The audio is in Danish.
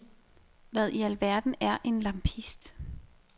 Hvad i alverden er en lampist?